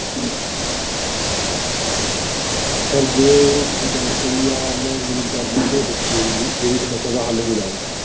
Sir ਜੋ ਤੁਸੀਂ ਗੱਲ ਕਹੀ ਆ ਉਹ ਮੈਂ ਉਮੀਦ ਕਰਦਾਂ ਕਿ ਸੱਚੀ ਹੋਊਗੀ, ਮੇਰੀ ਸਮੱਸਿਆ ਦਾ ਹੱਲ ਹੋ ਜਾਵੇਗਾ।